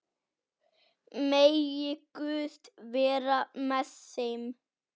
Megi Guð vera með þeim.